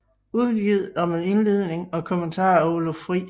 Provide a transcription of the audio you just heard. Udgivet og med indledning og kommentarer af Oluf Friis